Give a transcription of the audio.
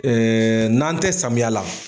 Ɛɛ ɛn'an tɛ samiya la